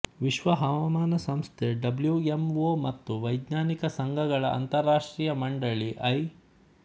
ವಿಶ್ವ ಹವಾಮಾನ ಸಂಸ್ಥೆ ಡಬ್ಲ್ಯೂ ಎಂ ಒ ಮತ್ತು ವೈಜ್ಞಾನಿಕ ಸಂಘಗಳ ಅಂತಾರಾಷ್ಟ್ರೀಯ ಮಂಡಳಿ ಐ